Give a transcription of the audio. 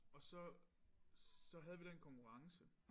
Og så så havde vi den konkurrence